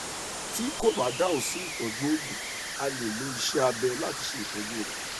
tí kò bá dáhùn sí ìtọjú òògùn a lè lo ìṣe abẹ láti ṣe ìtọjú rẹ